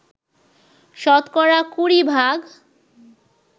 শতকরা কুড়ি ভাগ